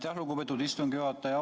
Aitäh, lugupeetud istungi juhataja!